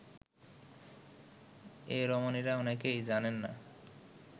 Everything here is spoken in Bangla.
এ রমণীরা অনেকেই জানেন না